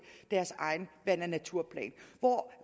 deres egen vand og naturplan